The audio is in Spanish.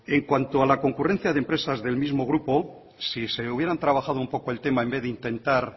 en cuanto a la concurrencia de empresas del mismo grupo si se hubieran trabajado un poco el tema en vez de intentar